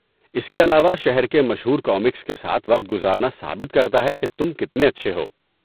اس کے علاوہ، شہر کے مشہور کامکس کے ساتھ وقت گزارنا ثابت کرتا ہے کہ تم کتنے اچھے ہو۔